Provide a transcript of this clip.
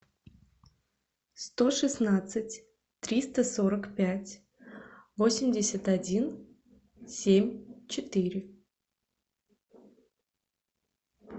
сто шестнадцать триста сорок пять восемьдесят один семь четыре